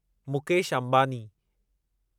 Mukesh Ambani